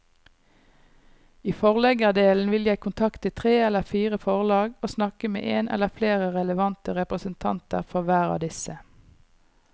I forleggerdelen vil jeg kontakte tre eller fire forlag og snakke med en eller flere relevante representanter for hver av disse.